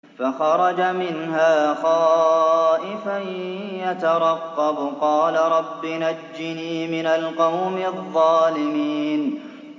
فَخَرَجَ مِنْهَا خَائِفًا يَتَرَقَّبُ ۖ قَالَ رَبِّ نَجِّنِي مِنَ الْقَوْمِ الظَّالِمِينَ